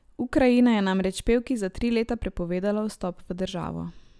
Ukrajina je namreč pevki za tri leta prepovedala vstop v državo.